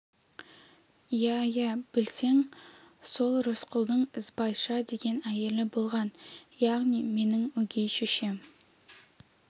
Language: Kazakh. иә-иә білсең сол рысқұлдың ізбайша деген әйелі болған яғни менің өгей шешем